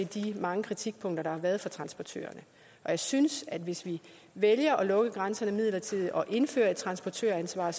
de mange kritikpunkter der er kommet fra transportørerne jeg synes at vi hvis vi vælger at lukke grænserne midlertidigt og indføre et transportøransvar